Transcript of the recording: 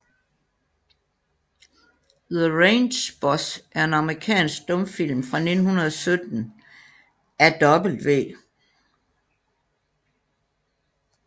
The Range Boss er en amerikansk stumfilm fra 1917 af W